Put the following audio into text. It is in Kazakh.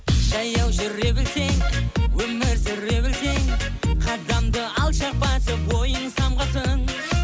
жаяу жүре білсең өмір сүре білсең қадамды алшақ басып ойың самғасын